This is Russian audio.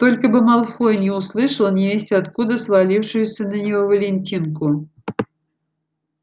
только бы малфой не услышал невесть откуда свалившуюся на него валентинку